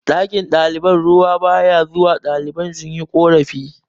ɗakin ɗalibai ruwa ba ya zuwa ɗalibai sun yi korafi